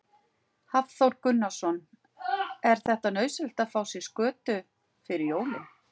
Hafþór Gunnarsson: Er þetta nauðsynlegt að fá sér skötu fyrir jólin?